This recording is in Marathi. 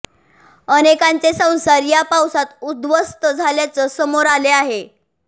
अनेकांचे संसार या पावसात उध्वस्थ झाल्याचं समोर आले आहे